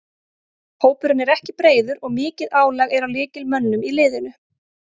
Hópurinn er ekki breiður og mikið álag er á lykilmönnunum í liðinu.